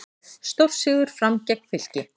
Stórsigur Fram gegn Fylki